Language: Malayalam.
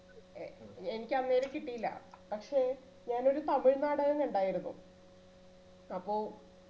എ എനിക്ക് അന്നേരം കിട്ടിയില്ല പക്ഷെ ഞാനൊരു തമിഴ് നാടകം കണ്ടായിരുന്നു